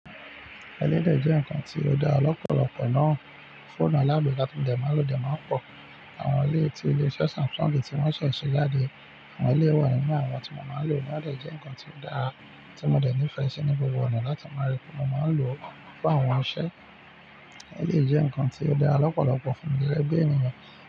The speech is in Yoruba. Ẹ́lé dẹ̀ jẹ́ ǹkan tí ó dára lọ́pọ̀lọpọ̀ náà, fóònù alágbèéká tó dẹ̀ máa lò dẹ̀ máa ń pọ̀. Àwọn ilé tí ilé-iṣẹ́ Samsung tí wọ́n ṣẹ̀ ṣe jáde, àwọn ilé wa nínú àwọn tí mo máa ń lò ti o dè jẹ́ ǹkan tí ó dára tí mo dẹ̀ nífẹ̀ẹ́ ṣe ní gbogbo ọ̀nà láti máa rí pé mo máa ń lò fún àwọn iṣẹ́. Ẹ́lé jẹ́ ǹkan tí ó dára lọ́pọ̀lọpọ̀ fún mi rí, gegẹ́ bi ènìyàn.